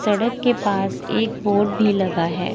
सड़क के पास एक बोर्ड भी लगा है।